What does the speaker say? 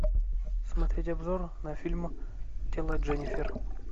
смотреть обзор на фильм тело дженнифер